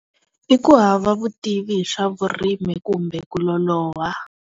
I ku hava vutivi hi swa vurimi kumbe ku loloha.